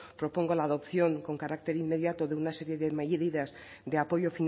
propongo la adopción con carácter inmediato de una serie de medidas de apoyo